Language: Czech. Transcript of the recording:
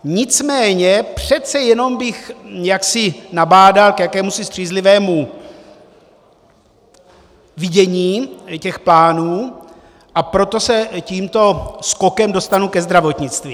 Nicméně přece jenom bych jaksi nabádal k jakémusi střízlivému vidění těch plánů, a proto se tímto skokem dostanu ke zdravotnictví.